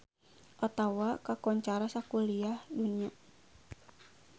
Ottawa kakoncara sakuliah dunya